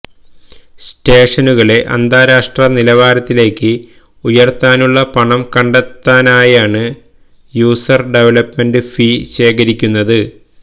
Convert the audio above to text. സ്റ്റേഷനുകളെ അന്താരാഷ്ട്ര നിലവാരത്തിലേക്ക് ഉയര്ത്താനുള്ള പണം കണ്ടെത്താനായാണ് യൂസര് ഡെവലപ്മെന്റ് ഫീ ശേഖരിക്കുന്നത്